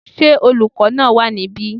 Ṣé olùkọ́ náà wà níbí?